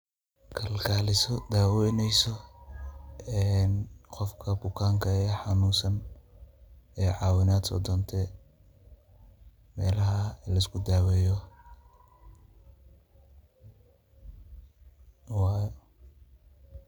Kalkaaliso daaweneyso qofka bukanka ee hanuunsan oo caawinaad soodontay meelaha luskudaaweeyowaa.